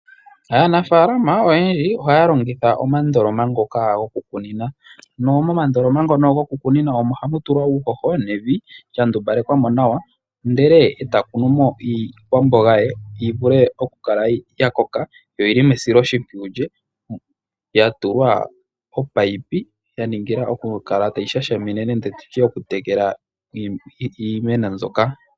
Aanafalama oyendji ohaya longitha omandoloma ngoka gokukunina, na momandoloma ngono gokukunina omo hamu tulwa uuhoho nevi lya ndumbalekwa nawa, ndele e ta kunu mo iikwamboga ye yi vule okukala ya koka, yo oyili mesiloshimpwiyu lye. Ya tulwa omunino ya ningila okukala tayi shashamine nenge tutye okutekela iimeno mbyoka.